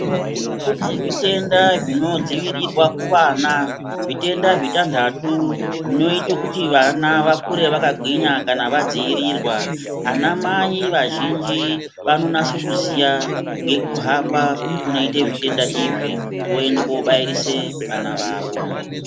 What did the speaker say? Kune zvitenda zvinodzivirirwa kubva kuvana zvitenda zvitantatu zvinoite kuti vana vakure vakagwinya kana vadzivirirwa. Ana mai vazhinji vanonase kuziya ngekuhamba kunoita zvitenda izvi voende kobairise vana vavo.